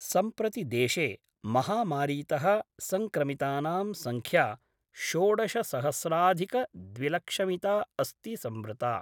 सम्प्रति देशे महामारीतः संक्रमितानां संख्या षोडशसहस्राधिकद्विलक्षमिता अस्ति संवृता।